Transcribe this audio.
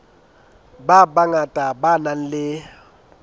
ba bangata ba nang le